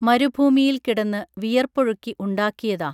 മരുഭുമിയിൽ കിടന്ന് വിയർപ്പൊഴുക്കി ഉണ്ടാക്കിയതാ